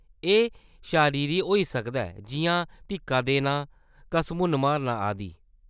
एह्‌‌ शरीरी होई सकदा ऐ जिʼयां धिक्का देना, घसमुन्न मारना आदि।